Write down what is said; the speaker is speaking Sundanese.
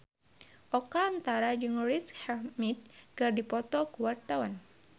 Oka Antara jeung Riz Ahmed keur dipoto ku wartawan